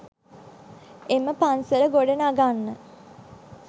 එම පන්සල ගොඩ නගන්න